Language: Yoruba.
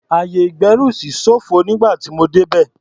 Ayè-ìgbẹ́rùsí ṣófo nígbà tí mo débẹ̀.